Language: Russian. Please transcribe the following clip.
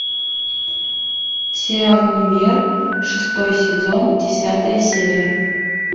сериал универ шестой сезон десятая серия